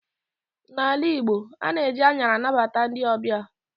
N'ala Igbo, ana eji anyara anabata ndị ọbịa